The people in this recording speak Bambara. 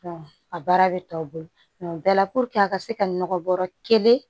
a baara bɛ tɔw bolo o bɛɛ la puruke a ka se ka nɔgɔ bɔrɔ kelen